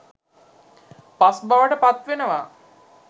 පස් බවට පත්වෙනවා.